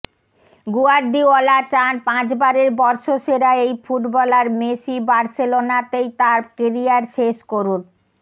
Guardiola চান পাঁচবারের বর্ষসেরা এই ফুটবলার মেসি বার্সেলোনাতেই তাঁর কেরিয়ার শেষ করুন